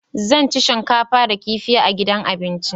Zan ci shinkafa da kifi a gidan abinci.